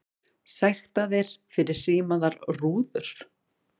Sektaðir fyrir hrímaðar rúður